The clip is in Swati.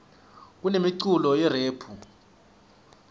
kunemiculo yerephu